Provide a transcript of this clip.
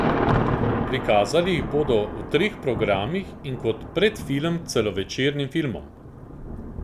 Prikazali jih bodo v treh programih in kot predfilm k celovečernim filmom.